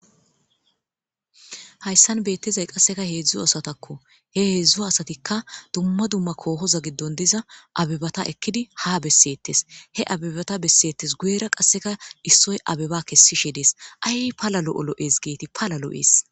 Hasan betizayi qase hedzdzu asatako he hedzdzu asatika duma duma kohoza gidon diza abebata ekidi ha besetess he abebeta besetees guyera qasika isoyi abeba kesishe de,ees ayi pala lo,o lo,es gideti pala lo,ess